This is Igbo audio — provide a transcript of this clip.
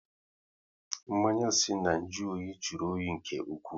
Mmanya si na nju oyi jụrụ oyi nke ụkwụ